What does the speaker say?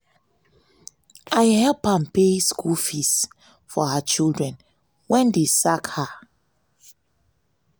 i help am pay school fees for her children wen dey sack her.